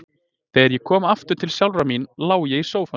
Þegar ég kom aftur til sjálfrar mín lá ég í sófanum.